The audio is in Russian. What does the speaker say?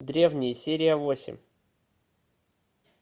древние серия восемь